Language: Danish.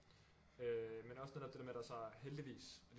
Øh men også netop det der med at der så heldigvis